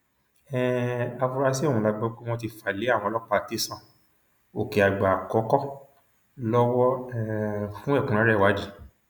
um afuarasí ọhún la gbọ pé wọn ti fà lé àwọn ọlọpàá tẹsán ọkèàgbẹ àkọkọ lọwọ um fún ẹkúnrẹrẹ ìwádìí